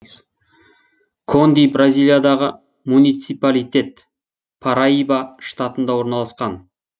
конди бразилиядағы муниципалитет параиба штатында орналасқан